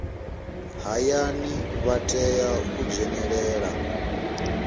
hayani vha tea u dzhenelela